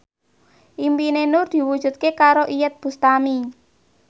impine Nur diwujudke karo Iyeth Bustami